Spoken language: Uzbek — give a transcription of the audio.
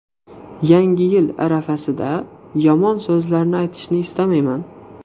Yangi yil arafasida yomon so‘zlarni aytishni istamayman.